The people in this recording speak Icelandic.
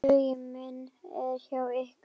Hugur minn er hjá ykkur.